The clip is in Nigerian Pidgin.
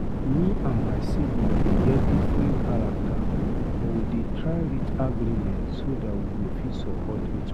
Me and my siblings dey get different character, but we dey try reach agreement so dat we fit support each other.